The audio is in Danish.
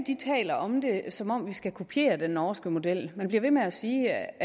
taler om det som om vi skal kopiere den norske model man bliver ved med at sige